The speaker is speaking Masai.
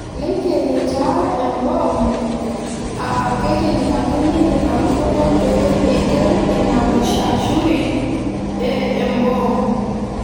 Neikeni taa emboom aa keitinyikani ina lukunya pee eiken ina mushashuri e mboom.